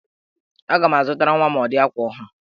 Aga m azụtara nwa m ụdị akwa ọhụrụ